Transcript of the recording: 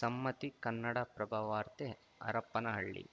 ಸಮ್ಮತಿ ಕನ್ನಡಪ್ರಭ ವಾರ್ತೆ ಹರಪ್ಪನಹಳ್ಳಿ